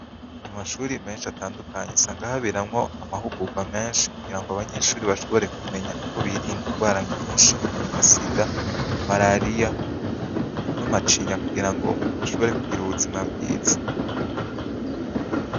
Kumashure mensh’atandukanye usanga habera amahigurwa menshi kugira abanyeshure bashobore kumenya uko birinda ingwara nyinshi nka SIDA, marariya n’amacinya kugirango bashobore kugir’ubuzima bwiza.